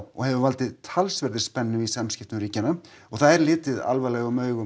og hefur valdið talsverðri spennu í samskiptum ríkjanna og það er litið alvarlegum augum